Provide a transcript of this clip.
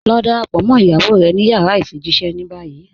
Lọ dáràpọ̀ mọ́ iyàwó rẹ̀ ní yàrá ifijíṣẹ̀ ní báyì.